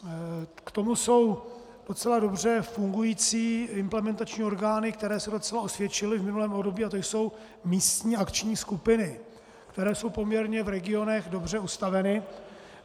K tomu jsou docela dobře fungující implementační orgány, které se docela osvědčily v minulém období, a to jsou místní akční skupiny, které jsou poměrně v regionech dobře ustaveny.